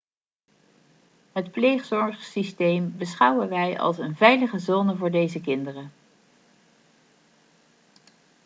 het pleegzorgsysteem beschouwen wij als een veilige zone voor deze kinderen